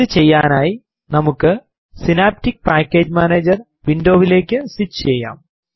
ഇത് ചെയ്യാനായി നമുക്ക് സിനാപ്റ്റിക് പാക്കേജ് മാനേജർ വിൻഡോ വിലേക്ക് സ്വിച്ച് ചെയ്യാം